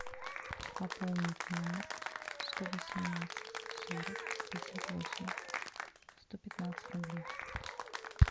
пополнить номер сто восемнадцать сорок пятьдесят восемь сто пятнадцать рублей